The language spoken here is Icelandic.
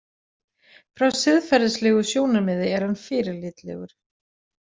Frá siðferðislegu sjónarmiði er hann fyrirlitlegur.